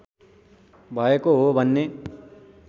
भएको हो भन्ने